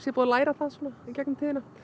búið að læra það í gegnum tíðina